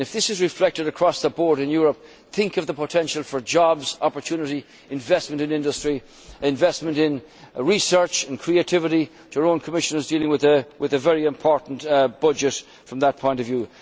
If this is reflected across the board in Europe, think of the potential for jobs, opportunity, investment in industry, investment in research and creativity. Our own Commissioner is dealing with a very important budget from that point of